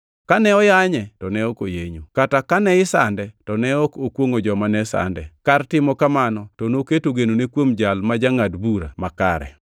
Kane oyanye to ne ok oyenyo, kata kane isande to ne ok okwongʼo joma ne sande. Kar timo kamano to noketo genone kuom Jal ma jangʼad bura ma kare.